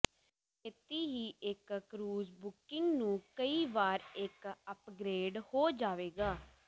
ਛੇਤੀ ਹੀ ਇੱਕ ਕਰੂਜ਼ ਬੁਕਿੰਗ ਨੂੰ ਕਈ ਵਾਰ ਇੱਕ ਅਪਗ੍ਰੇਡ ਹੋ ਜਾਵੇਗਾ